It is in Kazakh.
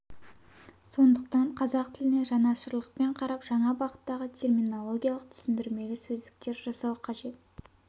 сондықтан қазақ тіліне жанашырлықпен қарап жаңа бағыттағы терминологиялық түсіндірмелі сөздіктер жасау қажет